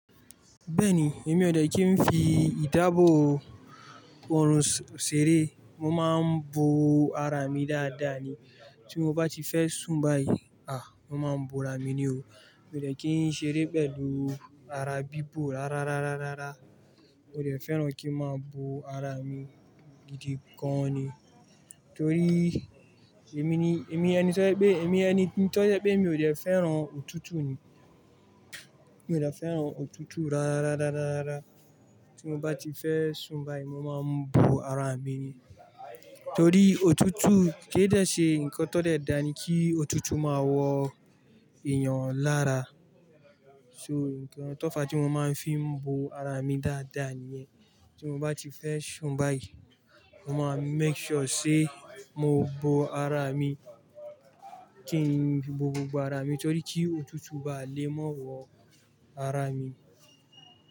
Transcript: Bẹ́ẹ̀ni, èmi ò dẹ̀ kí n fi ìdáàbòbò òòrùn ṣeré, mo máa ń bo ara mi dáadáa ni. Tí mo bá ti fẹ́ sùn báyìí, à, mo máa ń bo ara mi ni o. Mi dẹ̀ kí n ṣeré pẹ̀lú ara bíbò rárárárárárá. Mo dẹ̀ fẹ́ràn kí n máa bo ara mi gidi gan an ni. Nítorí èmi ni, èmi ẹni tó jẹ pé, èmi ẹni tó jẹ pé mi ò dẹ̀ fẹ́ràn òtútù ni. Mi ò dẹ̀ fẹ́ràn òtútù rárárárárárá. Tí mo bá ti fẹ́ sùn báyìí, mo máa ń bo ara mi ni. Torí òtútù kí n dẹ̀ ṣe nǹkan tó dẹ̀ dáa ni kí òtútù máa wọ èèyàn lára. So, nǹkan tó fa tí mo máa ń fi bo ara mi dáadáa níyẹn. Tí mo bá ti fẹ́ sùn báyìí, mo máa make sure ṣe mo bo ara mi, kí n bo gbogbo ara mi torí kí òtútù bá lè máa wọ ara mi.